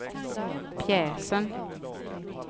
pjäsen